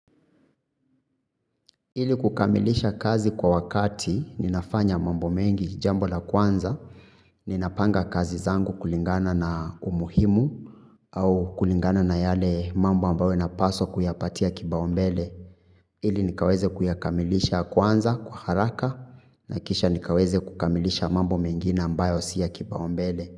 Ili kukamilisha kazi kwa wakati ninafanya mambo mengi jambo la kwanza, ninapanga kazi zangu kulingana na umuhimu au kulingana na yale mambo ambayo napaswa kuyapatia kipaumbele. Ili nikaweze kuyakamilisha kwanza kwa haraka na kisha nikaweze kukamilisha mambo mengine ambayo si ya kipaumbele.